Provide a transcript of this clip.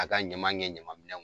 A ka ɲaman ŋɛ ɲamanminɛn ŋ